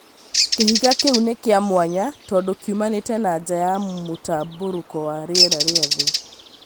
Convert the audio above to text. Kĩhiga kĩu nĩ kĩa mwanya tondũ kiumanĩte na nja ya mũtambũrũko wa rĩera rĩa thĩ